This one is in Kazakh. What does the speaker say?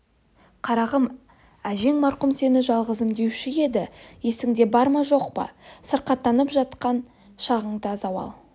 қарағым әжең марқұм сені жалғызым деуші еді есіңде бар ма жоқ па сырқаттанып жатқан шағында зауал